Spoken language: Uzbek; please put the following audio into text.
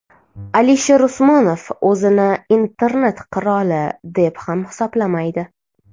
Alisher Usmonov o‘zini internet qiroli, deb ham hisoblamaydi.